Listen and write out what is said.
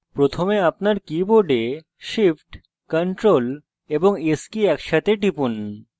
প্রথমে আপনার keyboard shift ctrl এবং s কী একসাথে টিপুন